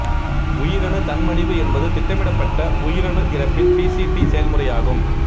உயிரணு தன்மடிவு என்பது திட்டமிடப்பட்ட உயிரணு இறப்பின் பிசிடி செயல்முறையாகும்